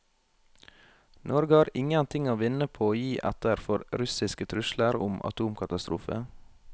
Norge har ingen ting å vinne på å gi etter for russiske trusler om atomkatastrofe.